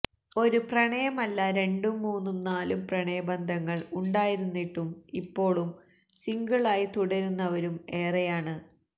ഒരു പ്രണയമല്ല രണ്ടും മൂന്നും നാലും പ്രണയബന്ധങ്ങള് ഉണ്ടായിരുന്നിട്ടും ഇപ്പോളും സിംഗിള് ആയി തുടരുന്നവരും ഏറെയാണ്